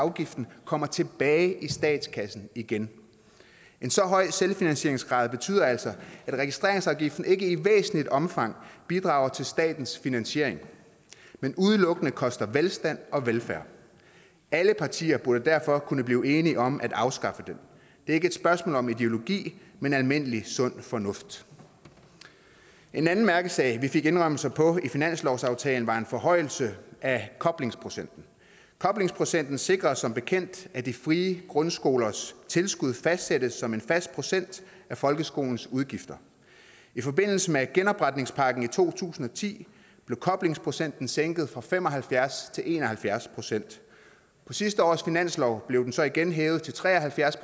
afgiften kommer tilbage i statskassen igen en så høj selvfinansieringsgrad betyder altså at registreringsafgiften ikke i væsentligt omfang bidrager til statens finansiering men udelukkende koster velstand og velfærd alle partier burde derfor kunne blive enige om at afskaffe den det er ikke et spørgsmål om ideologi men almindelig sund fornuft en anden mærkesag vi fik indrømmelser på i finanslovsaftalen var en forhøjelse af koblingsprocenten koblingsprocenten sikrer som bekendt at de frie grundskolers tilskud fastsættes som en fast procent af folkeskolens udgifter i forbindelse med genopretningspakken i to tusind og ti blev koblingsprocenten sænket fra fem og halvfjerds til en og halvfjerds procent på sidste års finanslov blev den så igen hævet til tre og halvfjerds